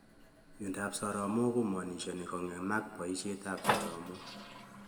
Miondop soromok komaanishani kongemak poishet ap soromok